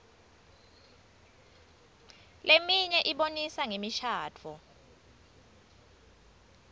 leminye ibonisa ngemishadvo